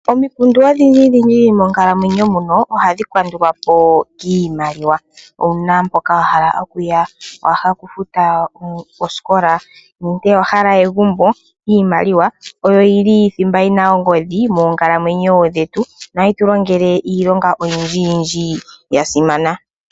Omikundu odhindjidhindji moonkalamwenyo muno ohadhi kandulwa po kiimaliwa. Owu na mpoka wa hala okuya? Owa hala okufuta osikola nenge owa hala egumbo? Iimaliwa oyi li thimba yi na ongodhi moonkalamwenyo dhetu nohayi tu longele iilonga oyindjiyindji ya simana.